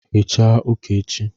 hichaa uka echi